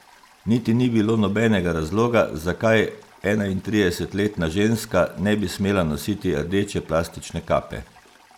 Niti ni bilo nobenega razloga, zakaj enaintridesetletna ženska ne bi smela nositi rdeče plastične kape.